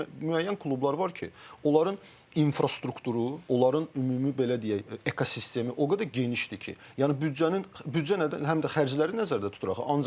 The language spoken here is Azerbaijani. Yəni müəyyən klublar var ki, onların infrastrukturu, onların ümumi belə deyək, ekosistemi o qədər genişdir ki, yəni büdcənin büdcə həm də xərcləri nəzərdə tutur axı.